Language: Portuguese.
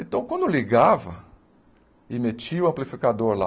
Então, quando ligava, e metia o amplificador lá,